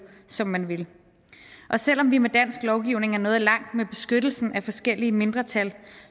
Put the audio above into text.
som man vil selv om vi med dansk lovgivning er nået langt med beskyttelsen af forskellige mindretal